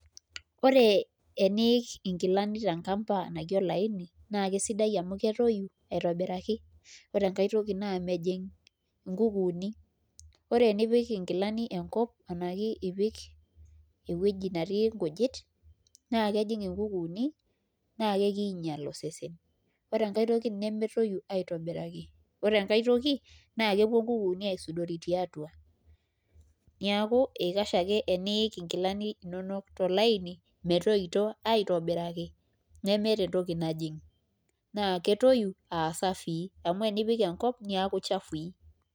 Ore eniik nkilani tenkamba naji olaini naa kesidai amu ketoyu aitobiraki ore enkae toki naa mejing' nkukuuni ore enipik nkilani enkop arashu ipik ewueji netii nkujit naa kejing nkukuuni naa kakiinyial osesen ore enkae toki nemetoyu aitobiraki ore enkae toki naa kepuo nkukuuni aisudori tiatua neeku ikash ake teniik nkilani inonok tolaini metoito aitobiraki nemeeta entoki nijing' naa ketoyu aa safii amu enipik enkop neeku chafui.